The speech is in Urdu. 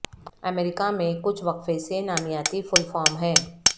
امریکہ میں کچھ وقفے سے نامیاتی پھول فارم ہیں